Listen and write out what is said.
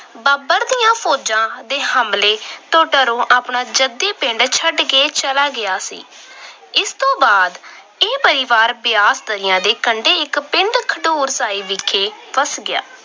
ਬਾਬਰ ਦੀਆਂ ਫੌਜਾਂ ਦੇ ਹਮਲੇ ਡਰੋਂ ਆਪਣਾ ਜੱਦੀ ਪਿੰਡ ਛੱਡ ਕੇ ਚਲਾ ਗਿਆ ਸੀ। ਇਸ ਤੋਂ ਬਾਅਦ ਇਹ ਪਰਿਵਾਰ ਬਿਆਸ ਦਰਿਆ ਦੇ ਕੰਢੇ ਇੱਕ ਪਿੰਡ ਖਡੂਰ ਸਾਹਿਬ ਵਿਖੇ ਬੱਸ ਗਿਆ।